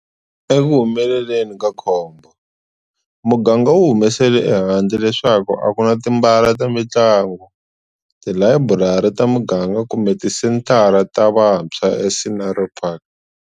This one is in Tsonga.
Ekuhumeleleni ka khombo, muganga wu humesele ehandle leswaku a ku na timbala ta mitlangu, tilayiburari ta miganga kumbe tisenthara ta vatshwa eScenery Park.